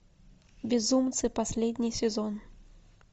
безумцы последний сезон